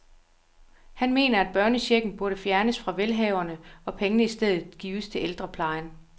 Han mener, at børnechecken burde fjernes fra velhaverne og pengene i stedet gives til ældreplejen.